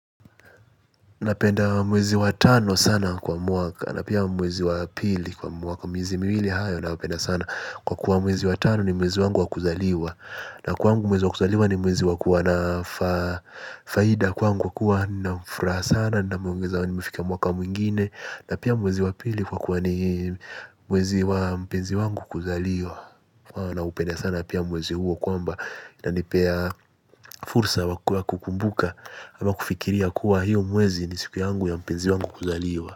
Napenda mwezi wa tano sana kwa mwaka na pia mwezi wa pili kwa mwaka miezi miwili hayo nayapenda sana kwa kuwa mwezi wa tano ni mwezi wangu wa kuzaliwa. Na kwangu mwezi wa kuzaliwa ni mwezi wakuwa na faida kwangu kuwa na furaha sana na mwongeza niumefika mwaka mwingine. Na pia mwezi wa pili hukuwa kuwa ni mwezi wa mpenzi wangu kuzaliwa. Na upenda sana pia mwezi huo kwamba inanipea fursa wakuwa kukumbuka ama kufikiria kuwa hiyo mwezi ni siku yangu ya mpenzi wangu kuzaliwa.